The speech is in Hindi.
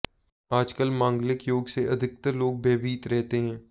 आजकल मांगलिक योग से अधिकतर लोग भयभीत रहते है